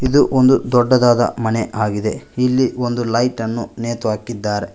ಇದು ಒಂದು ದೊಡ್ಡದಾದ ಮನೆ ಆಗಿದೆ ಇಲ್ಲಿ ಒಂದು ಲೈಟ್ ಅನ್ನು ನೇತುಹಾಕಿದ್ದಾರೆ.